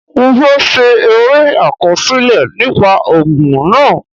Mo fẹ́ ṣe eré àkọsílẹ̀ nípa ogun náà.